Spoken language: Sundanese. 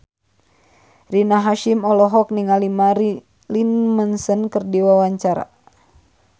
Rina Hasyim olohok ningali Marilyn Manson keur diwawancara